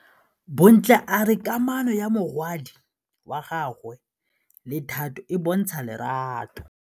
Bontle a re kamanô ya morwadi wa gagwe le Thato e bontsha lerato.